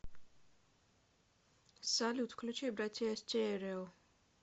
салют включи братиа стерео